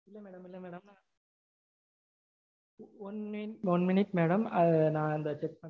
one minute one minute madam. அத நா அந்த